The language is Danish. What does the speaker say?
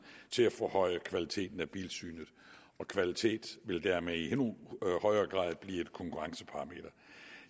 til at forhøje kvaliteten af bilsynet kvalitet vil dermed i endnu højere grad blive et konkurrenceparameter